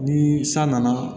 Ni san nana